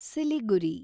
Siliguri